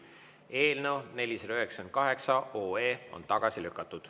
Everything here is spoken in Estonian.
Eelnõu 498 on tagasi lükatud.